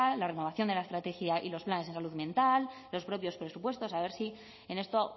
la renovación de la estrategia y los planes de salud mental los propios presupuestos a ver si en esto